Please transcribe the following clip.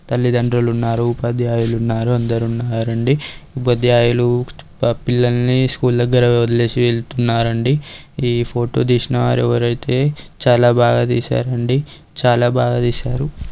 తల్లిదండ్రులు ఉన్నారు ఉపాధ్యాయులు ఉన్నారు అందరూ ఉన్నారండి. ఉపాధ్యాయులు పా-- పిల్లల్ని స్కూల్ దగ్గర వదిలేసి వెళ్తున్నారండి. ఈ ఫోటో తీసిన వారెవరైతే చాలా బాగా తీశారండి చాలా బాగా తీశారు.